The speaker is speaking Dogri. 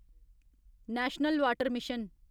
national water mission